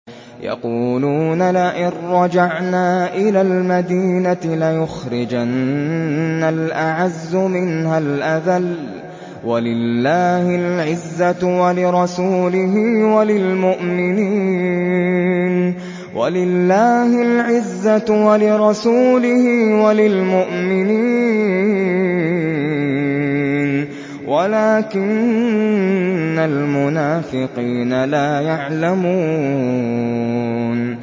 يَقُولُونَ لَئِن رَّجَعْنَا إِلَى الْمَدِينَةِ لَيُخْرِجَنَّ الْأَعَزُّ مِنْهَا الْأَذَلَّ ۚ وَلِلَّهِ الْعِزَّةُ وَلِرَسُولِهِ وَلِلْمُؤْمِنِينَ وَلَٰكِنَّ الْمُنَافِقِينَ لَا يَعْلَمُونَ